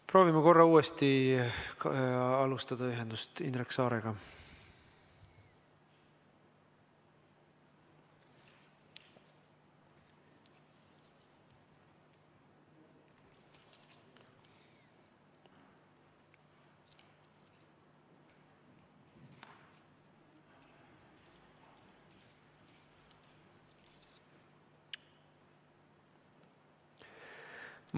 Proovime korra uuesti luua ühenduse Indrek Saarega.